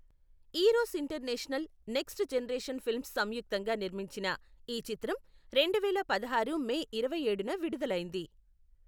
Eros international, next generation films సంయుక్తంగా నిర్మించిన ఈ చిత్రం రెండువేల పదహారు మే ఇరవైఏడున విడుదలైంది.